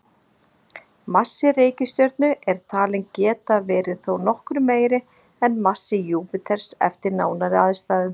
Massi reikistjörnu er talinn geta verið þó nokkru meiri en massi Júpíters eftir nánari aðstæðum.